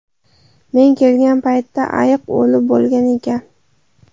Men kelgan paytda ayiq o‘lib bo‘lgan ekan.